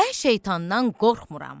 Mən şeytandan qorxmuram.